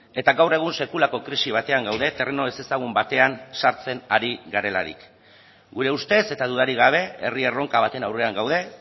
eta gaur egun sekulako krisi batean gaude terreno ezezagun batean sartzen ari garelarik gure ustez eta dudarik gabe herri erronka baten aurrean gaude